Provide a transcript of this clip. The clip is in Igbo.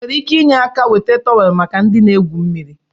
Ị nwere ike inye áká weta tọweelụ maka ndị na-egwu mmiri?